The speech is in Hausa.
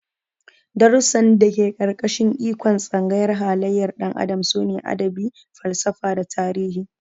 Darussan da ke ƙarƙashin ikon Tsangayar halayyar ɗan adam sune Adabi, Falsafa da Tarihi.